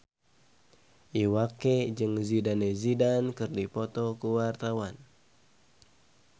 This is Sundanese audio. Iwa K jeung Zidane Zidane keur dipoto ku wartawan